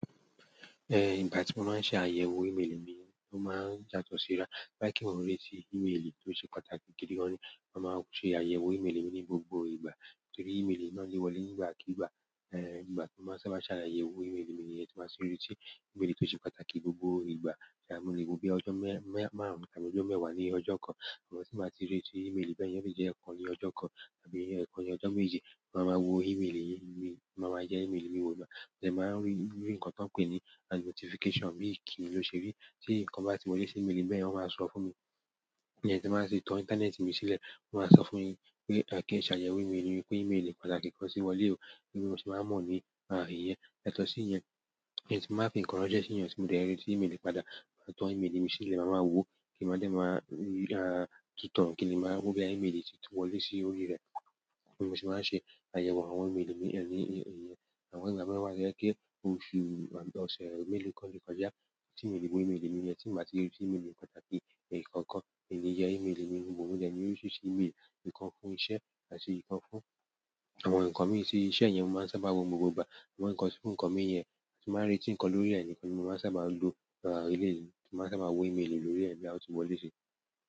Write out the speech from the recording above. Eh, ìgbà tí mo máa ń ṣe àyẹ̀wò ìmeélì mi ó máa ń yàtọ̀ síra. To ba je pe mo n reti imeeli, o se pàtàkì ki n ma se àyẹ̀wò imeeli mi ni gbogbo ìgbà, torí imeeli náà le wọlé ni ìgbàkígbà eh, ìgbà tí mo bá sábà maa n ṣe àyẹ̀wò ìmeélì mi ní ẹti mo sì ń re tí ìmeélì tó ṣe pàtàkì gbogbo ìgbà. Ṣé a mo le wo bíi ọjọ́ mẹ́-mẹ́ márùn-ún tàbí ọjọ́ mẹ́wàá ní ọjọ́ kan. Àmọ́ tí n bàá ti rí tí ìmeélì bẹ́ẹ̀ yen, o le jẹ́ ẹ̀kan ní ọjọ́ kan tàbí ẹ̀ẹ́kan ní ọjọ́ méje, mo máa wo ìmeélì mi, mo máa ma yẹ ìmeélì mi wò. Mo de máa ń rí nǹkan tí wọ́n ń pè ní as notification bí i kìní ló ṣe rí tí nǹkan bá ti wọlé sí ìmeélì mi bẹ́ẹ̀ yen, wọn máa sọ fún mi. Tí n mo bá ṣha ti tán ìntanẹ́ẹ̀tì mi sílẹ̀, wọ́n máa sọ fún mi pé, kí n ṣe àyẹ̀wò ìmeélì mi, pé ìmeélì pàtàkì kan tì wọlé o. Gẹ́gẹ́ bí mo ṣe máa mọ́ nípa èyí. Yàtọ̀ sí ìyẹn, tí mo bá fi ǹkan ránṣẹ́ sí ẹ̀yan, tí mo dé rétí ìmeélì padà, máa tàn ìmeélì mi sílẹ̀, màá máa wo kí n máa dẹ̀ máa rí, à, kí ni màá wo bí i àwọn ìmeélì ti wọlé sí orí rẹ̀. Bí mo ṣe máa ń ṣe àyẹ̀wò àwọn ìmeélì mi ni yẹn. Àwọn ìgbà mẹ́wàá jẹ́ kí oṣù, à, ọ̀sẹ̀, à, mélòó kan le kọjá tí ìmeélì gbogbo ìmeélì mi yẹn tí n bàá ti rí tí ìmeélì kan tàbí ẹ̀ẹ́kan kan. Emí yẹ ìmeélì mi wò, mo dẹ̀ ńi orísírisí ìmeélì nǹkan fún iṣẹ́ àti ikan fún àwọn nkan mii. Ti iṣẹ́ yen, mo ma n sábà n wo gbogbo ìgbà. Àwọn nǹkan sí nǹkan mi yẹn tí màá rí tí nǹkan lórí rẹ̀ ní nǹkan ni mo máa ń sábà lo èleyii tí mo sábà wo ìmeélì lórí rẹ̀ bí a ti wọlé sí.